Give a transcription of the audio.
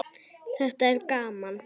Þetta er gaman.